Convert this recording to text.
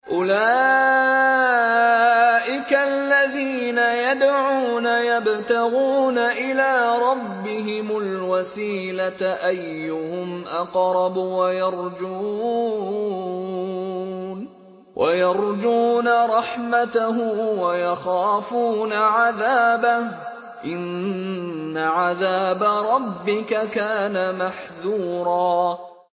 أُولَٰئِكَ الَّذِينَ يَدْعُونَ يَبْتَغُونَ إِلَىٰ رَبِّهِمُ الْوَسِيلَةَ أَيُّهُمْ أَقْرَبُ وَيَرْجُونَ رَحْمَتَهُ وَيَخَافُونَ عَذَابَهُ ۚ إِنَّ عَذَابَ رَبِّكَ كَانَ مَحْذُورًا